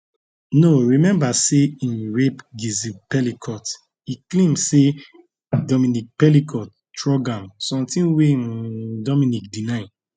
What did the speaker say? no remember say im rape gisle pelicot e claim say dominique pelicot drug am something wey um dominique deny